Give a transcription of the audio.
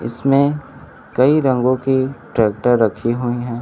इसमें कई रंगों की ट्रैक्टर रखी हुई हैं।